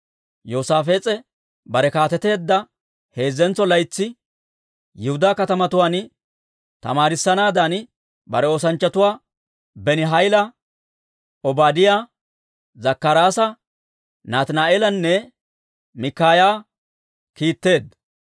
Yoosaafees'e bare kaateteedda heezzentso laytsi Yihudaa katamatuwaan tamaarissanaadan bare oosanchchatuwaa Benihayla, Obaadiyaa, Zakkaraasa Nataani'eelanne Mikaaya kiitteedda.